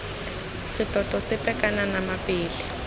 setoto sepe kana nama pele